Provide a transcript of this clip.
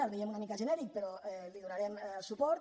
el veiem una mica genèric però hi donarem suport